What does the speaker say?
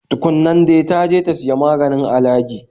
Tu kun nan dai, ta je ta siya maganin alagi